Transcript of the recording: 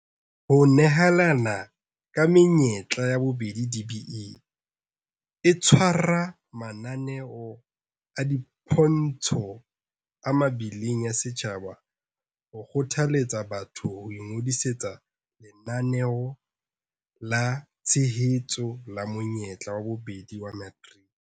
Ho nehelana ka menyetla ya bobedi DBE e tshwara mananeo a dipontsho a mebileng ya setjhaba ho kgothaletsa batho ho ingodisetsa Lenaneo la Tshehetso la Monyetla wa Bobedi wa Materiki.